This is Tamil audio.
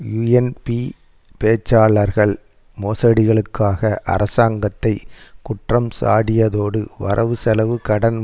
யூஎன்பி பேச்சாளர்கள் மோசடிகளுக்காக அரசாங்கத்தை குற்றஞ்சாடியதோடு வரவுசெலவு கடன்